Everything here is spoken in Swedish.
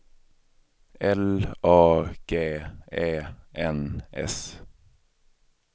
L A G E N S